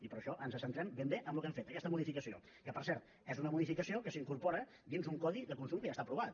i per això ens centrem ben bé en el que hem fet aquesta modificació que per cert és una modificació que s’incorpora dins un codi de consum que ja està aprovat